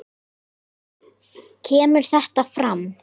kemur þetta fram